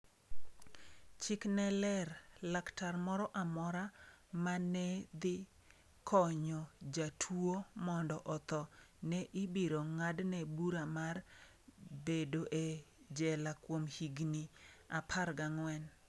Chik ne ler, laktar moro amora ma ne dhi konyo jatuwo mondo otho ne ibiro ng’adne bura mar bedo e jela kuom higni 14.